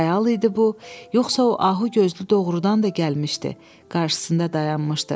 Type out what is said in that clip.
Xəyal idi bu, yoxsa o ahu gözlü doğrudan da gəlmişdi qarşısında dayanmışdı.